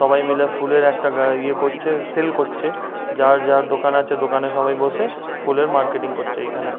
সবাই মিলে ফুলের একটা গা ইয়ে করছে সেল করছে। যার যার দোকান আছে দোকানে সবাই বসে ফুলের মার্কেটিং করছে এইখানে।